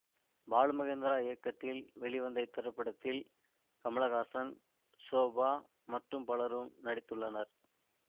பாலுமகேந்திரா இயக்கத்தில் வெளிவந்த இத்திரைப்படத்தில் கமலஹாசன் ஷோபா மற்றும் பலரும் நடித்துள்ளனர்